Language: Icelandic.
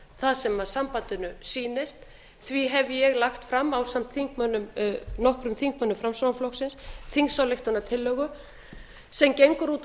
það sem sambandinu sýnist því hef ég lagt fram ásamt nokkrum þingmönnum framsóknarflokksins þingsályktunartillögu sem gengur út á